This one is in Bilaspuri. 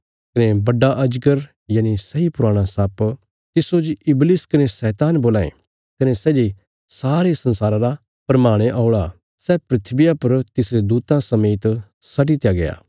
कने बड्डा अजगर यनि सैई पुराणा सर्प तिस्सो जे इबलिश कने शैतान बोलां ये कने सै जे सारे संसारा रा भरमाणे औल़ा सै धरतिया पर तिसरे दूतां समेत सट्टि दित्या गया